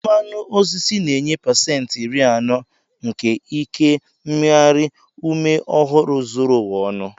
Mmanụ osisi na-enye pasentị iri anọ nke ike mmeghari ume ọhụrụ zuru ụwa ọnụ.